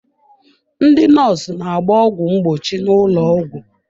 Ndị nọọsụ na-agba ọgwụ mgbochi n'ụlọ ọgwụ.